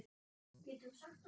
Geturðu sagt okkur?